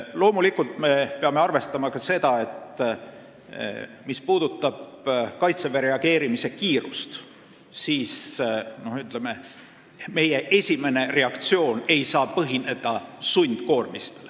Loomulikult me peame arvestama ka seda, et mis puudutab Kaitseväe reageerimiskiirust, siis meie esimene reaktsioon ei saa põhineda sundkoormistel.